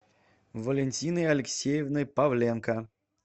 валентиной алексеевной павленко